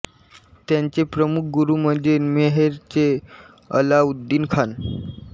त्यांचे प्रमुख गुरु म्हणजे मैहर चे अलाउद्दीन खान